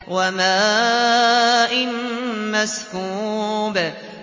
وَمَاءٍ مَّسْكُوبٍ